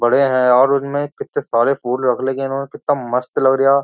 बड़े हैं यार उनमें कितने सारे फूल रख ले कि इन्होंने कितना मस्त लग रही है यार।